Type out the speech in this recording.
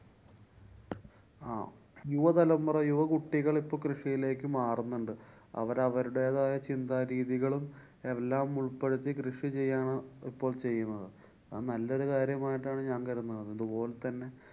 അഹ് യുവതലമുറ യുവകുട്ടികള്‍ ഇപ്പൊ കൃഷിയിലേക്ക് മാറുന്നുണ്ട്. അവര്‍ അവരുടെതായ ചിന്താ രീതികളും എല്ലാം ഉള്‍പ്പെടുത്തി കൃഷി ചെയ്യാനാ~ ഇപ്പോള്‍ ചെയ്യുന്നത്. അത് നല്ലൊരു കാര്യമായിട്ടാണ് ഞാന്‍ കരുതുന്നത്. അതുപോലെ തന്നെ